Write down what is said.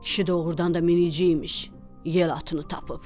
Kişi doğrudan da minici imiş, yel atını tapıb.